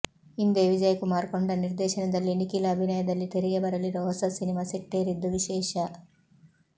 ಇಂದೇ ವಿಜಯ್ ಕುಮಾರ್ ಕೊಂಡ ನಿರ್ದೇಶನದಲ್ಲಿ ನಿಖಿಲ್ ಅಭಿನಯದಲ್ಲಿ ತೆರೆಗೆ ಬರಲಿರೋ ಹೊಸ ಸಿನಿಮಾ ಸೆಟ್ಟೇರಿದ್ದು ವಿಶೇಷ